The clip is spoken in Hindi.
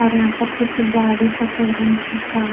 और यहां पर कुछ गाड़ी सफेद रंग की का--